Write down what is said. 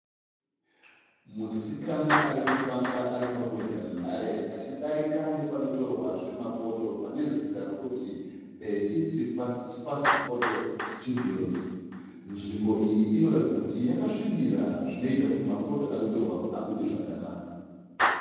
Musikana arikufamba aripambozhanhare achidarika nepanotorwa zvemafoto pane zita rekuti paBheti si fasiti foto situdhiyosi. Nzvimbo iyi inoratidza kuti yakasvibira zvinoita kuti mafoto anotorwapo abude zvakanaka.